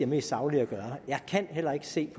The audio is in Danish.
mest saglige at gøre jeg kan heller ikke se at